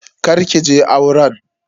Kar ki je auren.